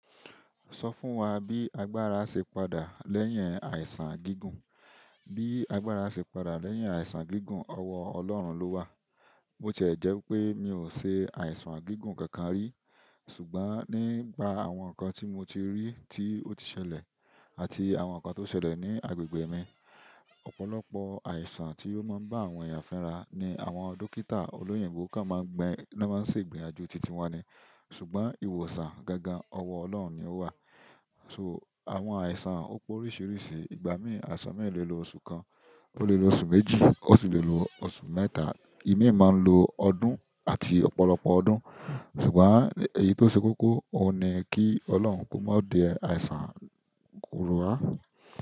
Sọ fún wa bí agbára ṣe padà lẹ́yìn àìsàn gígùn. Bí agbára ṣe padà lẹ́yìn àìsàn gígùn, ọwọ Ọlọ́run ló wà. Ó tiẹ́ jẹ́ pé mi ò ṣe àìsàn gígùn kankan rí, ṣùgbọ́n nígbà àwọn nǹkan tí mo ti rí tí ó ti ṣẹlẹ̀ àti àwọn nǹkan tó ṣẹlẹ̀ ní agbègbè mi, ọ̀pọ̀lọpọ̀ àìsàn ti o máa n ba àwọn èèyàn fira ni àwọn dókítà oloyinbo kan mo gbo na mo se igbiyanju titi wọn ni. Ṣùgbọ́n ìwòsàn gangan, ọwọ Ọlọ́run ni ó wà. So àwọn àìsàn ó pé oríṣiríṣi, ìgbà mí àìsàn mìíràn lè lo oṣù kan, ó lè lo oṣù méjì, ó sì lè lo oṣù mẹ́ta. Imi máa ń lo ọdún àti ọ̀pọ̀lọpọ̀ ọdún. Ṣùgbọ́n èyí tó ṣe kókó, òun ni kí Ọlọ́run kó má di ẹ àìsàn ru wá.